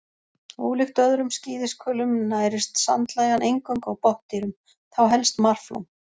Ólíkt öðrum skíðishvölum nærist sandlægjan eingöngu á botndýrum, þá helst marflóm.